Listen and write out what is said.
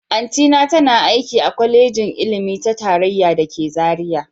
Auntyna tana aiki a Kwalejin Ilimi ta Tarayya da ke Zaria